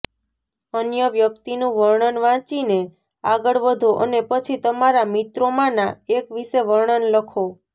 અન્ય વ્યક્તિનું વર્ણન વાંચીને આગળ વધો અને પછી તમારા મિત્રોમાંના એક વિશે વર્ણન લખો